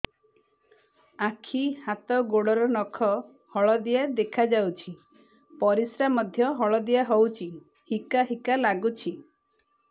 ଆଖି ହାତ ଗୋଡ଼ର ନଖ ହଳଦିଆ ଦେଖା ଯାଉଛି ପରିସ୍ରା ମଧ୍ୟ ହଳଦିଆ ହଉଛି ହିକା ହିକା ଲାଗୁଛି